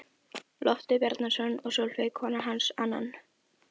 Loftur Bjarnason og Sólveig kona hans annan.